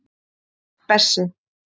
Bessi